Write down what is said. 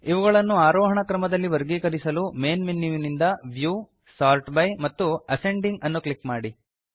ಇವುಗಳನ್ನು ಆರೋಹಣ ಕ್ರಮದಲ್ಲಿ ವರ್ಗೀಕರಿಸಲು ಮೇನ್ ಮೆನ್ಯುವಿಂದ ವ್ಯೂ ಸೋರ್ಟ್ ಬೈ ಮತ್ತು ಅಸೆಂಡಿಂಗ್ ಅನ್ನು ಕ್ಲಿಕ್ ಮಾಡಿ